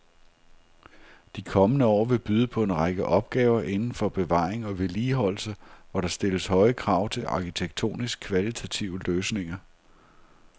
De kommende år vil byde på en række opgaver inden for bevaring og vedligeholdelse, hvor der stilles høje krav til arkitektonisk kvalitative løsninger.